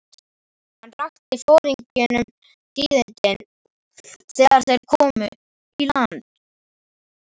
Hann rakti foringjunum tíðindin þegar þeir komu í land.